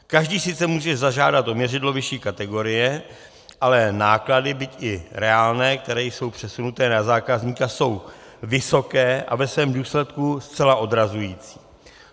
Každý sice může zažádat o měřidlo vyšší kategorie, ale náklady, byť i reálné, které jsou přesunuty na zákazníka, jsou vysoké a ve svém důsledku zcela odrazující.